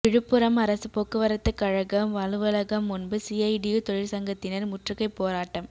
விழுப்புரம் அரசு போக்குவரத்துக்கழக அலுவலகம் முன்பு சிஐடியு தொழிற்சங்கத்தினர் முற்றுகைப் போராட்டம்